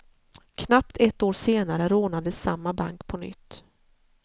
Knappt ett år senare rånades samma bank på nytt.